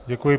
Děkuji.